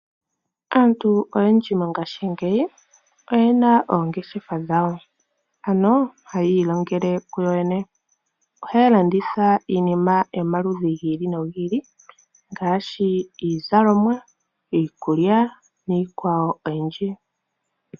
Aantu oyendji mongashingeyi oyena oongeshefa dhawo ano oha yi ilongele ku yoyene. Oha ya landitha iinima yomaludhi gi ili ngaashi iizalomwa, iikulya niikwawo oyindji.